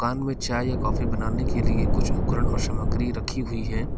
चाय और कॉफी बनाने के लिए कुछ उपकरण और सामग्री रखी हुई है।